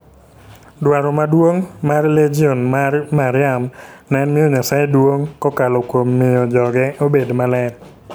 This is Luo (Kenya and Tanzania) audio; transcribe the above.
Dwaro maduong' mar Legion mar Mariam en miyo Nyasaye duong' kokalo kuom miyo joge obed maler.